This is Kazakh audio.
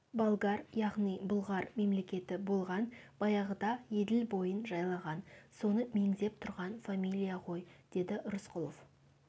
болгар яғни бұлғар мемлекеті болған баяғыда еділ бойын жайлаған соны меңзеп тұрған фамилия ғой деді рысқұлов